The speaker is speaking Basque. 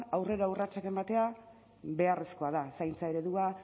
aurrera urratsak ematea beharrezkoa da zaintza eredua